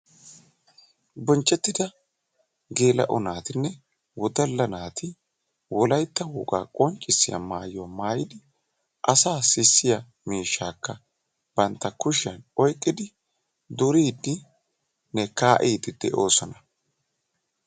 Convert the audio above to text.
Bonchchetida geela''o naatinne wodala naati wolaytta woga qonccissiya maayyo maayyidi asa sissiya miishshakka bantta kushiyaan oyqqidi duridinne kaa'ide doosona.